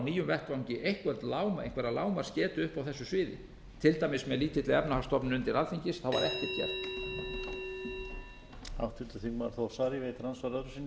nýjum vettvangi einhverja lágmarks getu upp á þessu sviði til dæmis með lítilli efnahagsstofnun undir alþingis var ekkert gert